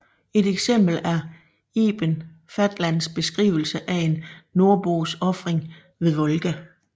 Et eksempel er Ibn Fadlans beskrivelse af en nordbos ofring ved Volga